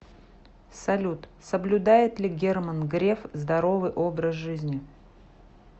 салют соблюдает ли герман греф здоровый образ жизни